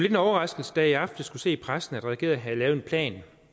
en overraskelse da jeg i aftes kunne se i pressen at regeringen havde lavet en plan